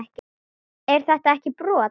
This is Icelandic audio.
Er þetta ekki brot?